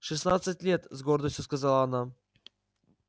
шестнадцать лет с гордостью сказала она